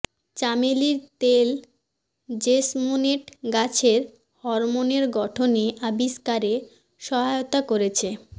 চামেলীর তেল জেসমোনেট গাছের হরমোনের গঠনে আবিষ্কারে সহায়তা করেছে